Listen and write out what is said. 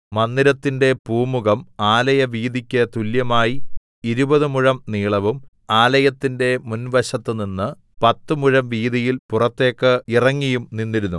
മന്ദിരത്തിന്റെ പൂമുഖം ആലയവീതിക്ക് തുല്യമായി ഇരുപത് മുഴം നീളവും ആലയത്തിന്റെ മുൻവശത്ത് നിന്ന് പത്ത് മുഴം വീതിയിൽ പുറത്തേക്ക് ഇറങ്ങിയും നിന്നിരുന്നു